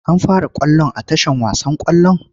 An fara ƙwallon a tashar wasan ƙwallon?